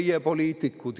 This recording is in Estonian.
Meie poliitikud.